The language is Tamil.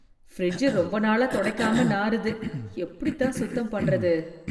பிரிட்ஜ் ரொம்ப நாளா துடைக்காம நாறுது எப்படித்தான் சுத்தம் பண்ணறது?